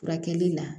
Furakɛli la